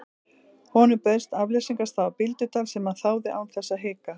Honum bauðst afleysingarstaða á Bíldudal sem hann þáði án þess að hika.